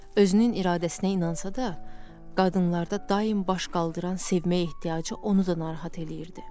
Özünün iradəsinə inansa da, qadınlarda daim baş qaldıran sevmə ehtiyacı onu da narahat eləyirdi.